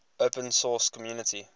open source community